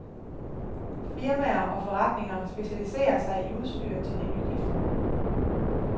Firmaer og forretninger specialiserer sig i udstyr til de nygifte.